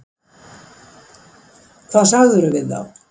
Hvað sagðirðu við þá?